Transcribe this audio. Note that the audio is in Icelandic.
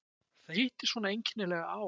Það hittist svona einkennilega á.